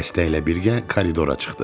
Xəstə ilə birgə koridora çıxdı.